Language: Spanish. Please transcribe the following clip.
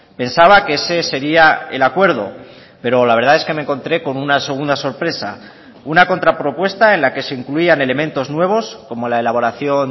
pensaba que ese sería el acuerdo pero la verdad es que me encontré con una segunda sorpresa una contra propuesta en la que se incluían elementos nuevos como la elaboración